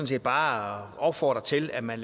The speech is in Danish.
set bare opfordre til at man